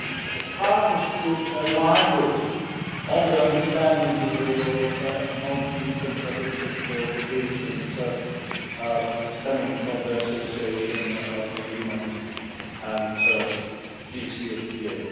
The partners could align with these on the understanding that they will not be in contradiction with the obligations stemming from their Association Agreement and DCFTA.